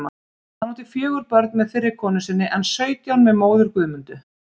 Hann átti fjögur börn með fyrri konu sinni en sautján með móður Guðmundu.